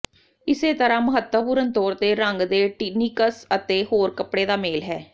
ਇਸੇ ਤਰ੍ਹਾਂ ਮਹੱਤਵਪੂਰਨ ਤੌਰ ਤੇ ਰੰਗ ਦੇ ਟਿਨੀਕਸ ਅਤੇ ਹੋਰ ਕੱਪੜੇ ਦਾ ਮੇਲ ਹੈ